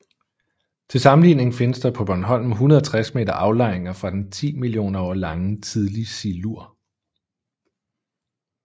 Til sammenligning findes der på Bornholm 160 meter aflejringer fra den 10 millioner år lange Tidlig Silur